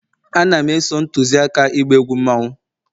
Ana m e-so ntuzi aka ịgba egwu mmanwu